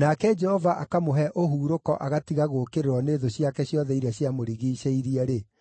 nake Jehova akamũhe ũhurũko agatiga gũũkĩrĩrwo nĩ thũ ciake ciothe iria ciamũrigiicĩirie-rĩ,